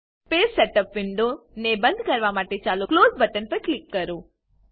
page setup window ને બંદ કરવા માટે ચાલો ક્લોઝ બટન પર ક્લિક કરો